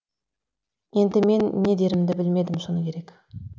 енді мен не дерімді білмедім шыны керек